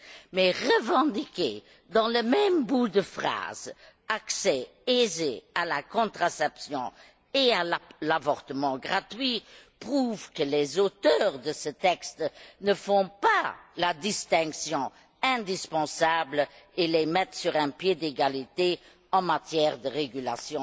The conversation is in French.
Mais revendiquer, dans le même bout de phrase, un accès aisé à la contraception et à l'avortement gratuit prouve que les auteurs de ce texte ne font pas la distinction indispensable et les mettent sur un pied d'égalité en matière de régulation